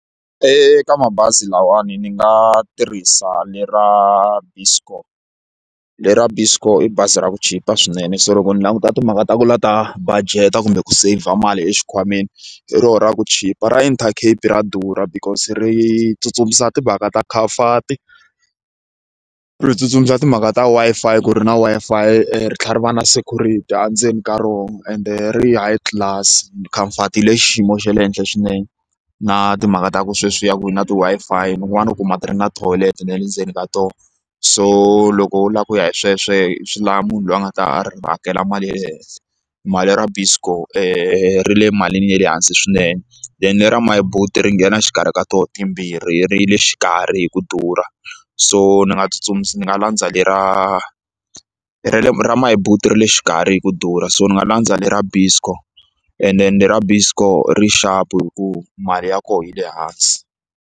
Eka mabazi lawani ni nga tirhisa lera Buscor lera Buscor i bazi ra ku chipa swinene so loko ni languta timhaka ta ku la ta budget kumbe ku saver mali exikhwameni hi rona ra ku chipa ra Intercape ra durha because ri tsutsumisa timhaka ta khamfati ri tsutsumisa timhaka ta Wi-Fi ku ri na Wi-Fi ri tlhela ri va na security endzeni ka rona ende ri high class khamfati yi le xiyimo xa le henhla swinene na timhaka ta ku sweswiya ku na ti-Wi-Fi kun'wana u ku ma ti ri na thoyilete ne le ndzeni ka tona so loko u lava ku ya hi sweswo swi lava munhu loyi a nga ta hakela mali ya le henhla mali ra Biscor ri le malini ya le hansi swinene then ra Myboet ri nghena xikarhi ka tona timbirhi ri le xikarhi hi ku durha so ni nga ni nga landza lera ra le ra Myboet ra le xikarhi hi ku durha so ni nga landza lera Biscor and ende ra Biscor ri xapu hi ku mali ya kona yi le hansi.